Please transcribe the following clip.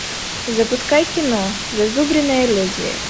запускай кино зазубренное лезвие